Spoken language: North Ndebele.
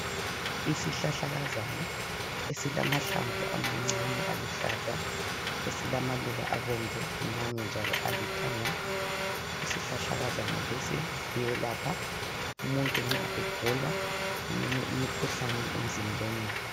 Isihlahlakazana esilamahlamvu amancane aluhlaza, esilamaluba abomvu, amanye njalo alithanga, isihlakakazana lesi siyelapha umuntu nxa egula eminye imikhuhlane emzimbeni.